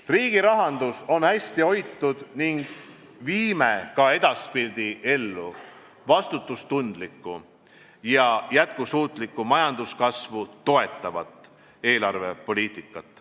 Riigi rahandus on hästi hoitud ning viime ka edaspidi ellu vastutustundlikku ja jätkusuutlikku majanduskasvu toetavat eelarvepoliitikat.